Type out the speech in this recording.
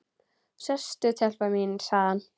Sestu telpa mín, sagði hann.